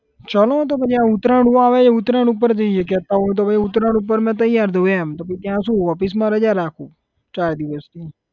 ચાલો તો પછી આ ઉતરાયણ આવે છે આ ઉતરાયણ ઉપર જઇયે કહેતા હોય તો પછી આ ઉતરાયણ ઉપર આપણે તૈયાર થઉં એમ તો પછી ત્યાં શું office માં રજા રાખું ચાર દિવસની